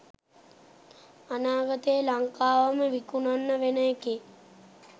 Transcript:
අනාගතේ ලංකාවම විකුණන්න වෙන එකේ